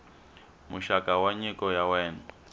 muxaka wa nyiko ya wena